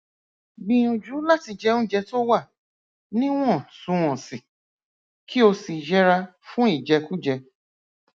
gbìyànjú láti jẹ oúnjẹ tó wà níwọntúnwọnsì kí o sì yẹra fún ìjẹkújẹ